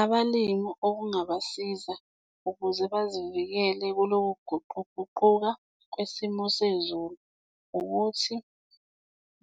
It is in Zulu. Abalimi okungabasiza ukuze bazivikele kuloku kuguquguquka kwesimo sezulu ukuthi